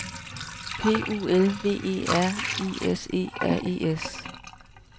P U L V E R I S E R E S